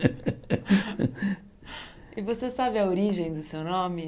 E você sabe a origem do seu nome?